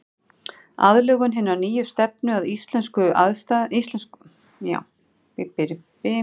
Aðlögun hinnar nýju stefnu að íslenskum aðstæðum skapaði nýja húsagerð.